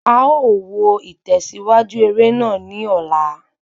A ó wo itẹsiwaju eré náà ni ola